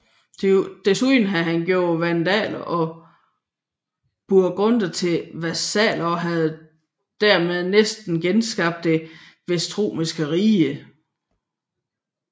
Desuden havde han gjort vandaler og burgunder til vasaller og havde dermed næsten genskabt det vestromerske rige